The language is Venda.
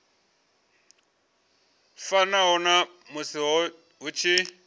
fanaho na musi hu tshi